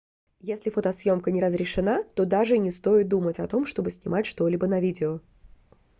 если фотосъёмка не разрешена то даже и не стоит думать о том чтобы снимать что-либо на видео